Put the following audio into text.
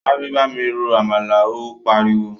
Sáré bámi ro “àmàlà” ó pariwo.